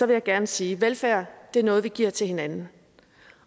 jeg gerne sige velfærd er noget vi giver til hinanden